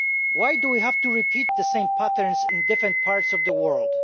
Why do we have to repeat the same patterns in different parts of the world?